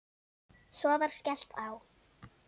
Svo var skellt á.